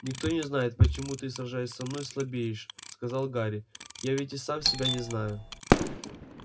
никто не знает почему ты сражаясь со мной слабеешь сказал гарри я ведь и сам себя не знаю